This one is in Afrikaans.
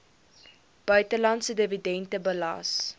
buitelandse dividende belas